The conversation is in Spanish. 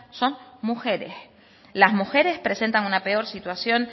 son mujeres las mujeres presentan una peor situación